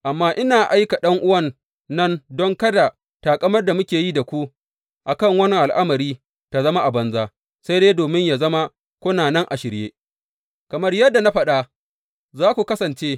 Amma ina aika ’yan’uwan nan don kada taƙamar da muke yi da ku, a kan wannan al’amari ta zama a banza, sai dai domin yă zama kuna nan a shirye, kamar yadda na faɗa za ku kasance.